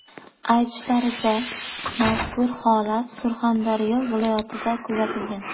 Aytishlaricha, mazkur holat Surxondaryo viloyatida kuzatilgan.